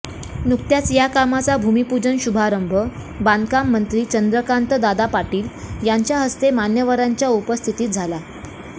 नुकत्याच या कामाचा भूमीपूजन शुभारंभ बांधकाम मंत्री चंद्रकांतदादा पाटील यांच्या हस्ते मान्यवरांच्या उपस्थितीत झाला